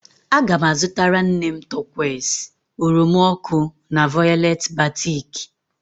Aga m azụtara nne m turquoise, oroma ọkụ na violet batik